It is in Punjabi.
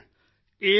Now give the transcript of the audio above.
ਕੀ ਸੁਣਿਆ ਹੈ